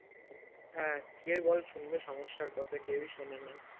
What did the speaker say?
হ্যাঁ কে বল শুনবে সমস্যার কথা কেউ ই শোনেনা